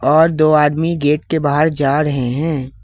और दो आदमी गेट के बाहर जा रहे हैं।